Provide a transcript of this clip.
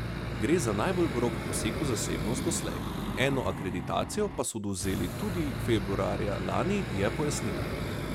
Gre za najbolj grob poseg v zasebnost doslej, eno akreditacijo pa so odvzeli tudi februarja lani, je pojasnila.